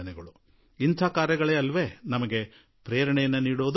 ಇದೇ ತಾನೆ ನಮಗೆ ಸ್ಫೂರ್ತಿ ನೀಡುವಂತಹದು